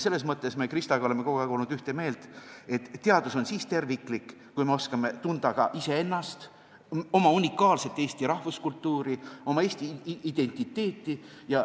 Selles mõttes oleme meie Kristaga olnud kogu aeg ühte meelt, et teadus on siis terviklik, kui me oskame tunda ka iseennast, oma unikaalset eesti rahvuskultuuri, oma eesti identiteeti.